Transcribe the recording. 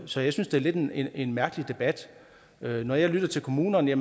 så jeg synes det er lidt en en mærkelig debat når jeg lytter til kommunerne